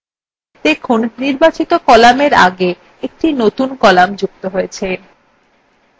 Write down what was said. দেখুন নির্বাচিত cell কলামের আগে একটি নতুন column যুক্ত হয়েছে